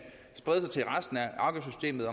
sprede sig til resten af afgiftssystemet